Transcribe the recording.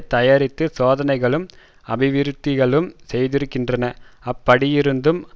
தயாரித்து சோதனைகளும் அபிவிருத்திகளும் செய்திருக்கின்றன அப்படியிருந்தும்